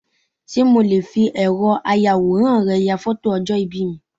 Sé mo le fi ẹ̀rọ ayàwòrán rẹ ya fótò ọjọ̀ ìbí mi